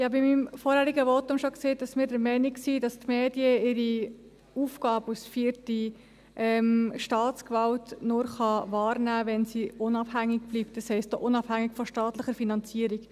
Ich habe in meinem vorangehenden Votum bereits gesagt, dass wir der Meinung sind, dass die Medien ihre Aufgabe als vierte Staatsgewalt nur wahrnehmen können, wenn sie unabhängig bleiben, das heisst auch unabhängig von staatlicher Finanzierung.